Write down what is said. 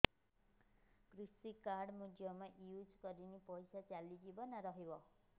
କୃଷି କାର୍ଡ ମୁଁ ଜମା ୟୁଜ଼ କରିନି ପଇସା ଚାଲିଯିବ ନା ରହିବ